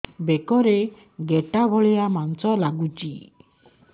ବେକରେ ଗେଟା ଭଳିଆ ମାଂସ ଲାଗୁଚି